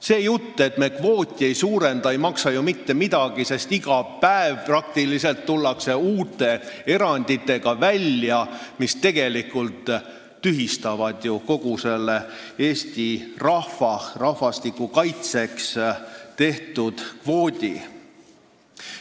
See jutt, et me kvooti ei suurenda, ei maksa ju mitte midagi: praktiliselt iga päev tullakse välja uute eranditega, mis tegelikult tühistavad selle Eesti rahvastiku kaitseks tehtud kvoodi.